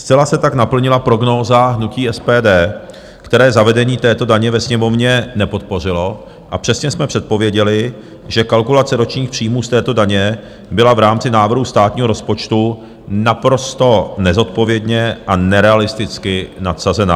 Zcela se tak naplnila prognóza hnutí SPD, které zavedení této daně ve Sněmovně nepodpořilo, a přesně jsme předpověděli, že kalkulace ročních příjmů z této daně byla v rámci návrhu státního rozpočtu naprosto nezodpovědně a nerealisticky nadsazená.